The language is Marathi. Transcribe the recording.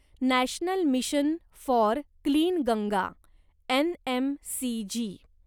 national mission for clean Ganga NMCG